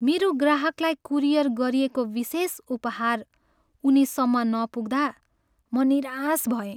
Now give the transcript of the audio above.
मेरो ग्राहकलाई कुरियर गरिएको विशेष उपहार उनीसम्म नपुग्दा म निराश भएँ।